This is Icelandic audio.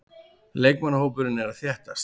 Leikmannahópurinn er að þéttast.